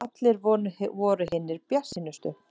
Allir voru hinir bjartsýnustu.